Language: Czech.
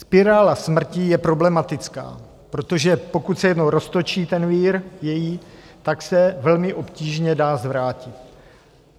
Spirála smrtí je problematická, protože pokud se jednou roztočí ten její vír, tak se velmi obtížně dá zvrátit.